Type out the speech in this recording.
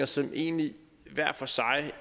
sig egentlig